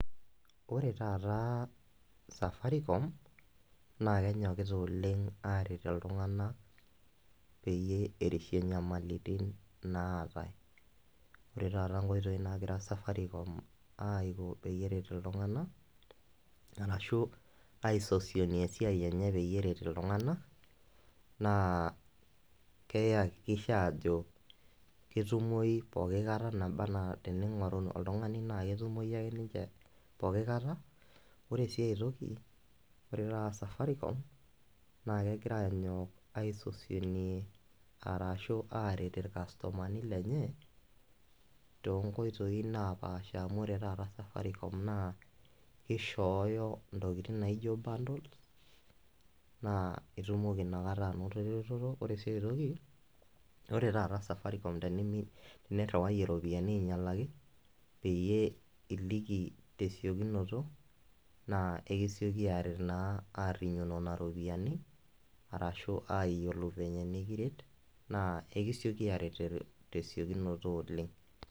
Ore taata Safaricom na kenyokita oleng aret ltunganak peyie eishie enyamalitin naatae, ore taata nkoitoi nagira Safaricom peyie eret ltunganak arashu aisosonie esiai enye Peter ltunganak na keyakikisha ajobketumoi pooki kata teningoru oltungani na ketumoi ninche pooki kata, ore sia toki ore taata Safaricom na kegira anyok aisosonie arashu aret irkastomani lenye tonkoitoi napaasha amu ore taata Safaricom na kishooyo ntokitin naijo bundles na itumoki inakata ainoto eretoto, ore si aitoki ore taata Safaricom teniriwayie ropiyani ainyalaki peyie iliki tesiokinoto na esiki aret naa ashukoki nona ropiyani arashu ayiolou vile nikiret na ekiseki aret tesiokinoto oleng.